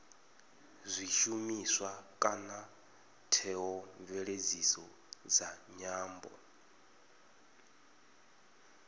zwishumiswa kana theomveledziso dza nyambo